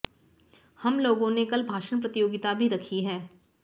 हम लोगों ने कल भाषण प्रतियोगिता भी रखी है